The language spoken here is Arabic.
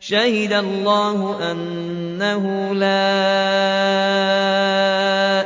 شَهِدَ اللَّهُ أَنَّهُ لَا